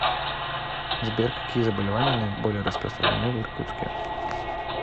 сбер какие заболевания наиболее распространнены в иркутске